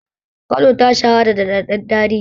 Kano ta shahara da daɗaɗɗen tarihi.